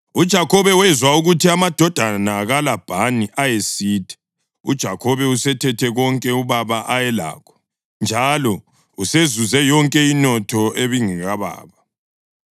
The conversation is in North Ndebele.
UJakhobe wezwa ukuthi amadodana kaLabhani ayesithi, “UJakhobe usethethe konke ubaba ayelakho njalo usezuze yonke inotho ebingekababa.”